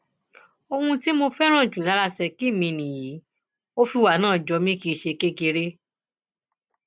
ohun tí mo fẹràn jù lára ṣèkí mi nìyí ò fìwà náà jó mi kì í ṣe kékeré